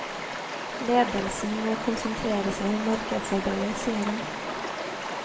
Ledelsen må konsentrere seg om markedsarbeidet, sier han.